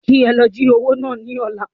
Kí ẹ lọ jí owó náà ní ọ̀la